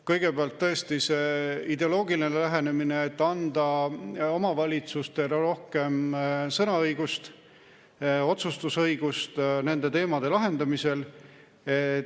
Kõigepealt tõesti ideoloogiline lähenemine, et anda omavalitsustele rohkem sõnaõigust, otsustusõigust nende teemade lahendamisel.